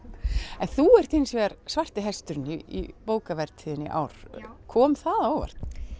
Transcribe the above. en þú ert hins vegar svarti hesturinn í bókavertíðinni í ár kom það á óvart